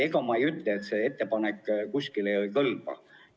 Ma ei ütle, et teie ettepanek kuskile ei kõlba.